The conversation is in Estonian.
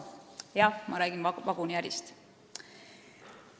Jah, ma räägin vaguniärist.